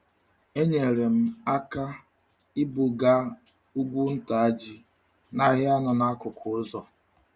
Enyere m um aka ibuga um ugwu nta ji um n'ahịa nọ n'akụkụ ụzọ.